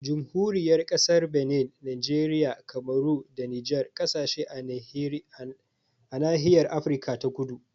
Jamhuriyar Kasar Benin, Nijeriya, Kamaru da Nijar kasashe a nahiyar Afirka ta kudu